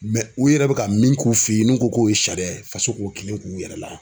Mɛ u yɛrɛ be ka min k'u fe yen n'u ko k'o ye sariya ye faso k'o kelen k'u yɛrɛ la